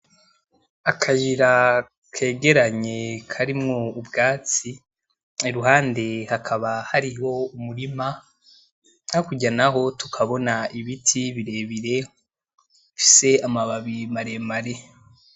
Akayira kegeranye karimwo ubgatsi iruhandi hakaba hariho umurima, hakurya naho tukabona ibiti birebire bifise amababi maremare.